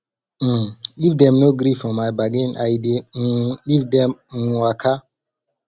um if dem no gree for my bargain i dey um leave dem um waka